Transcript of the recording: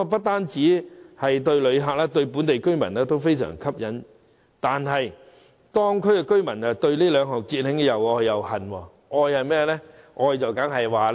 雖然這些對旅客及當地居民都非常吸引，但後者卻對這兩項節慶活動又愛又恨。